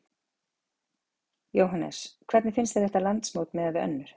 Jóhannes: Hvernig finnst þér þetta landsmót miðað við önnur?